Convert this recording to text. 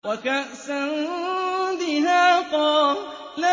وَكَأْسًا دِهَاقًا